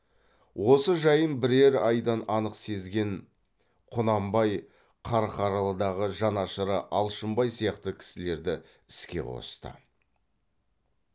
осы жайын бірер айда анық сезген құнанбай қарқаралыдағы жанашыры алшынбай сияқты кісілерді іске қосты